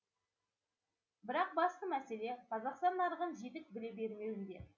бірақ басты мәселе қазақстан нарығын жетік біле бермеуінде